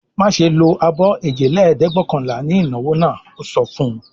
"Má ṣe lo abọ́ èjelẹ́ẹ̀dẹ́gbẹ̀ọ̀kànlá ní ìnáwó náà!" Ó sọ fún un.